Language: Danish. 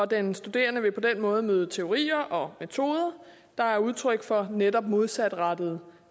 den studerende vil på den måde møde teorier og metoder der er udtryk for netop modsatrettede